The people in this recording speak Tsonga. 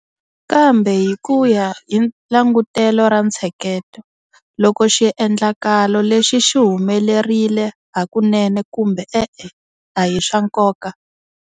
Kambe hi ku ya hi langutelo ra ntsheketo, loko xiendlakalo lexi xi humelerile hakunene kumbe e-e a hi swa nkoka.